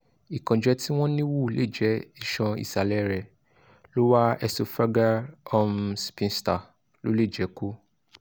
ìkánjẹ́ tí wọ́n níwò léjè ìṣan isalẹ rẹ̀ lower esophageal um sphincter ló lè jẹ́ kó